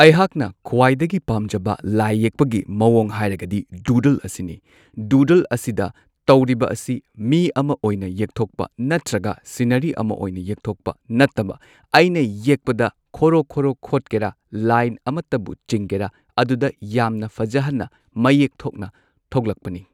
ꯑꯩꯍꯥꯛꯅ ꯈ꯭ꯋꯥꯏꯗꯒꯤ ꯄꯥꯝꯖꯕ ꯂꯥꯏ ꯌꯦꯛꯄꯒꯤ ꯃꯑꯣꯡ ꯍꯥꯏꯔꯒꯗꯤ ꯗꯨꯗꯜ ꯑꯁꯤꯗ꯫ ꯗꯨꯗꯜꯁꯤꯗ ꯇꯧꯔꯤꯕ ꯑꯁꯤ ꯃꯤ ꯑꯃ ꯑꯣꯏꯅ ꯌꯦꯛꯊꯣꯛꯄ ꯅꯠꯇ꯭ꯔꯒ ꯁꯤꯟꯅꯔꯤ ꯑꯃ ꯑꯣꯏꯅ ꯌꯦꯛꯊꯣꯛꯄ ꯅꯠꯇꯕ ꯑꯩꯅ ꯌꯦꯛꯄꯗ ꯈꯣꯔꯣ ꯈꯣꯔꯣ ꯈꯣꯠꯀꯦꯔ ꯂꯥꯏꯟ ꯑꯃꯇꯕꯨ ꯆꯤꯡꯒꯦꯔ ꯑꯗꯨꯗ ꯌꯥꯝꯅ ꯐꯖꯍꯟꯅ ꯃꯌꯦꯛ ꯊꯣꯛꯅ ꯊꯣꯛꯂꯛꯄꯅꯤ꯫